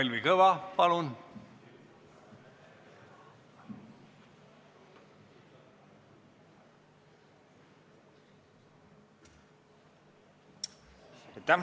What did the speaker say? Kalvi Kõva, palun!